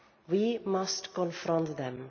We must confront them.